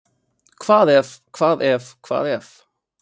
Hvað ef, hvað ef, hvað ef?